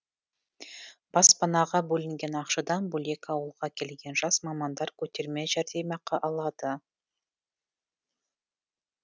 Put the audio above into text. баспанаға бөлінген ақшадан бөлек ауылға келген жас мамандар көтерме жәрдемақы алады